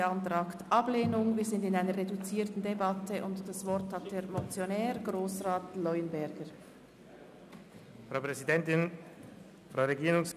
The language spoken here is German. Wer den Vorstoss abschreibt, stimmt Ja, wer dies ablehnt, stimmt Nein.